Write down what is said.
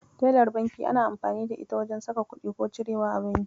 Telar banki ana amfani da ita wajen saka kuɗi ko cirewa a banki.